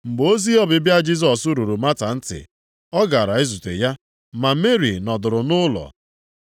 Mgbe ozi ọbịbịa Jisọs ruru Mata ntị, ọ gara izute ya, ma Meri nọdụrụ nʼụlọ.